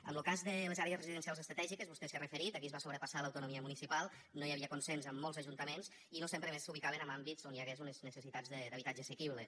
en lo cas de les àrees residencials estratègiques vostè s’hi ha referit aquí es va sobrepassar l’autonomia municipal no hi havia consens en molts ajuntaments i no sempre a més s’ubicaven en àmbits on hi hagués unes necessitats d’habitatge assequible